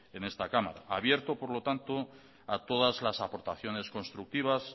en esta cámara abierto por lo tanto a todas las aportaciones constructivas